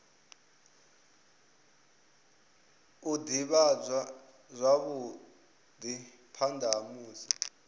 ivhadzwa zwavhui phana ha musi